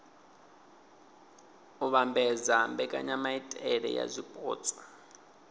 u vhambedza mbekanyamaitele ya zwipotso